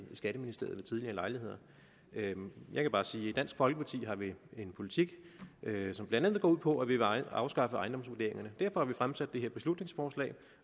skatteministeriet ved tidligere lejligheder jeg kan bare sige at i dansk folkeparti har vi en politik som blandt andet går ud på at vi vil afskaffe ejendomsvurderingerne derfor har vi fremsat det her beslutningsforslag